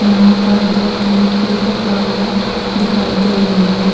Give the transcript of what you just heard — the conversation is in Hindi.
यहाँ पर दो-तीन पिक-अप गाड़िया दिखाई दे रही है।